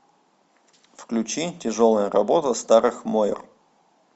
включи тяжелая работа старых мойр